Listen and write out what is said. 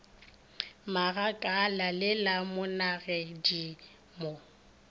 magakala le la monagedi mo